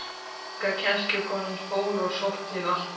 Unga kennslukonan fór og sótti vatn.